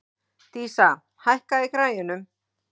Dísa, hækkaðu í græjunum.